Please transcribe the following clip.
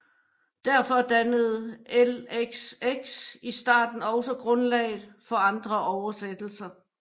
Derfor dannede LXX i starten også grundlaget for andre oversættelser